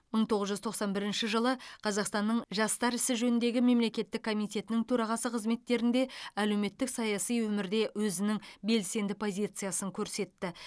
мың тоғыз жүз тоқсан бірінші жылы қазақстанның жастар ісі жөніндегі мемлекеттік комитетінің төрағасы қызметтерінде әлеуметтік саяси өмірде өзінің белсенді позициясын көрсетті